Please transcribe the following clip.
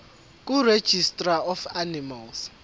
kuregistrar of animals